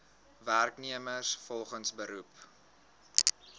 werknemers volgens beroep